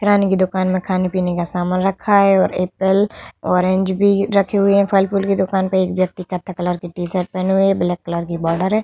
रानी की दुकान मे खाने पीने का सामान रखा है। और एप्पल और ऑरेंज भी रखी हुई है। फल-फुल की दुकान पे एक व्यक्ति कथई कलर की टी-शर्ट पहनी हुई है। ब्लैक कलर की बॉर्डर है।